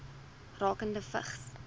rakende vigs